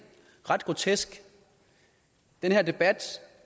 ret grotesk den her debat